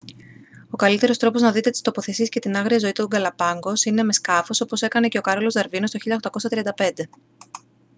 ο καλύτερος τρόπος να δείτε τις τοποθεσίες και την άγρια ζωή των γκαλαπάγκος είναι με σκάφος όπως έκανε και ο κάρολος δαρβίνος το 1835